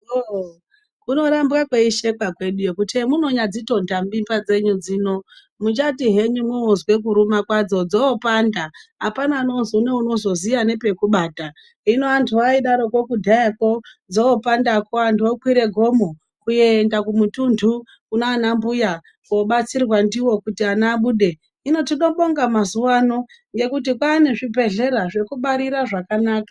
Hooo kunorambwa kwei shekwa kweduyo kuti, emunonya dzitonta mimba dzenyu dzino, muchati henyu mwoozwe kuruma kwadzo, dzoo panda, apana nounozo ziye nepe kubata. Hino antu aidaro kudhayakwo dzoopandakwo, antu okwire gomo kuenda kumutuntu kunana mbuya kobatsirwa ndiwo kuti ana abude. Hino tinobonga mazuwa ano, ngekuti kwaane zvibhedhlera zvekubarira zvakanaka.